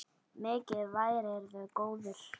Mikið værirðu góður.